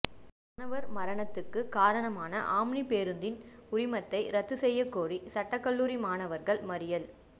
மாணவர் மரணத்துக்குக் காரணமான ஆம்னி பேருந்தின் உரிமத்தை ரத்து செய்யக் கோரி சட்டக் கல்லூரி மாணவர்கள் மறியல்